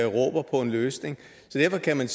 råber på en løsning derfor kan